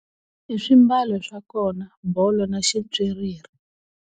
I swimbalo swa kona bolo na ximpyiriri.